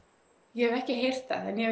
ég hef ekki heyrt það en